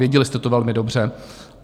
Věděli jste to velmi dobře.